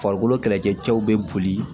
Farikolo kɛlɛcɛw bɛ boli